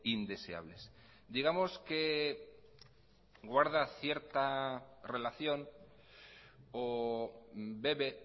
indeseables digamos que guarda cierta relación o bebe